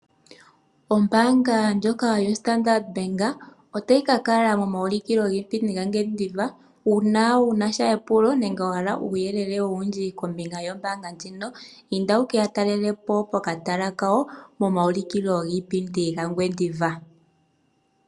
Ombaanga ndjoka yoStandard Bank otayi ka kala momaulikilo giipindi gaNgwediva uuna wu na epulo nenge wa hala uuyelele owundji kombinga yombaanga ndjino, inda wu ke ya talele po pokatala kawo momaulikilo giipindi gaNgwediva.